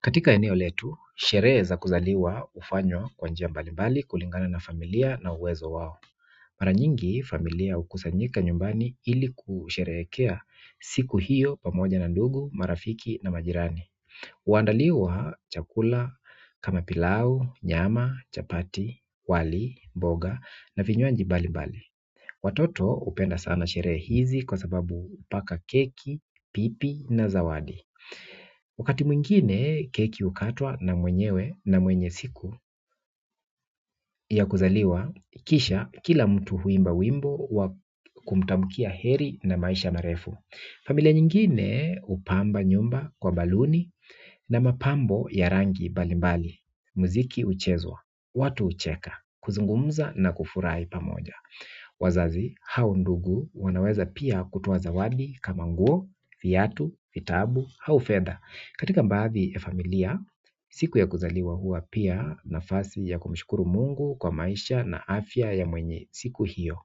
Katika eneo letu, sherehe za kuzaliwa hufanywa kwa njia mbalimbali kulingana na familia na uwezo wao. Mara nyingi familia hukusanyika nyumbani ili kusherehekea siku hiyo pamoja na ndugu, marafiki na majirani. Huandaliwa chakula, kama pilau, nyama, chapati, wali, mboga na vinywaji mbalimbali. Watoto hupenda sana sherehe hizi kwa sababu paka keki, pipi na zawadi. Wakati mwingine keki hukatwa na mwenyewe na mwenye siku ya kuzaliwa, kisha kila mtu huimba wimbo kumtamkia heri na maisha marefu. Familia nyingine hupamba nyumba kwa baruni na mapambo ya rangi mbalimbali muziki huchezwa watu hucheka kuzungumza na kufurahi pamoja wazazi hau ndugu wanaweza pia kutoa zawadi kama nguo viatu nguo au fedha katika baadhi ya familia siku ya kuzaliwa huwa pia nafasi ya kumshukuru Mungu kwa maisha na afya ya mwenye siku hiyo